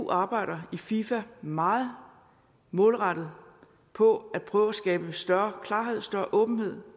arbejder i fifa meget målrettet på at prøve at skabe større klarhed større åbenhed